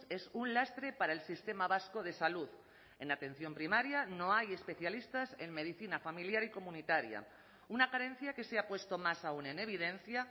es un lastre para el sistema vasco de salud en atención primaria no hay especialistas en medicina familiar y comunitaria una carencia que se ha puesto más aún en evidencia